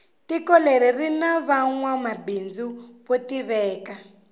tiko leri rini vanwa mabindzu vo tiveka